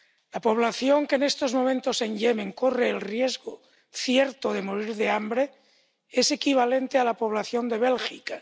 La población que en estos momentos en Yemen corre el riesgo cierto de morir de hambre es equivalente a la población de Bélgica.